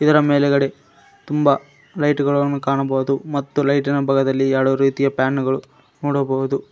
ಇದರ ಮೇಲುಗಡೆ ತುಂಬ ಲೈಟುಗಳನ್ನು ಕಾಣಬಹುದು ಮತ್ತು ಲೈಟಿನ ಬಗದಲ್ಲಿ ಎರಡು ರೀತಿಯ ಪ್ಯಾನ್ ಗಳು ನೋಡಬಹುದು.